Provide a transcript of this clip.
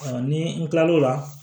ni n kilal'o la